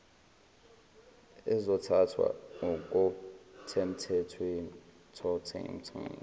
ezothathwa ngokothemthetho ehlala